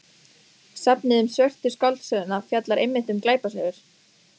Safnið um Svörtu skáldsöguna fjallar einmitt um glæpasögur.